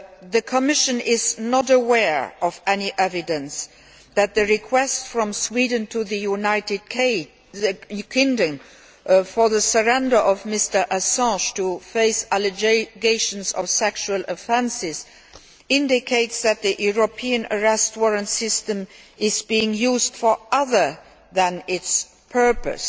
The Commission is not aware of any evidence that the request from Sweden to the United Kingdom for the surrender of Mr Assange to face allegations of sexual offences indicates that the European Arrest Warrant system is being used for other than its purpose.